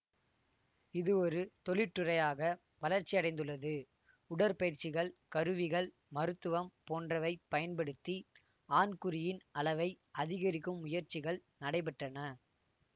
இது ஒரு தொழிற்றுறையாக வளர்ச்சியடைந்துள்ளது உடற்பயிற்சிகள் கருவிகள் மருத்துவம் போன்றவைப் பயன்படுத்தி ஆண்குறியின் அளவை அதிகரிக்கும் முயற்சிகள் நடைபெற்றன